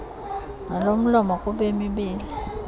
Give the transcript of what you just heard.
nolomlomo kubemi beli